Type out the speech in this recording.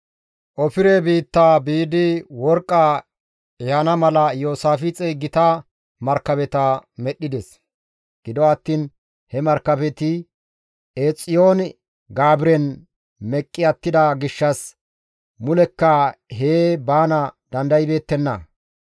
Ofire biitta biidi worqqa ehana mala Iyoosaafixey gita markabeta medhdhides; gido attiin he markabeti Eexiyoon-Gaabiren meqqi attida gishshas mulekka hee baana dandaybeettenna.